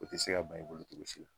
O te se ka ba i bolo cogo si la.